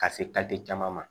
Ka se caman ma